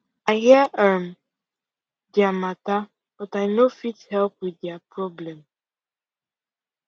i hear um dia matter but i no fit help with dia problem